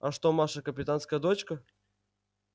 а что маша капитанская дочка